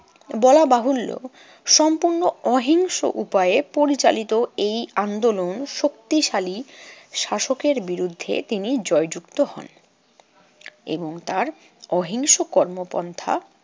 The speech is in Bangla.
বলা বাহুল্য, সম্পূর্ণ অহিংস উপায়ে পরিচালিত এই আন্দোলন শক্তিশালী শাসকের বিরুদ্ধে তিনি জয়যুক্ত হন এবং তার অহিংস কর্মপন্থা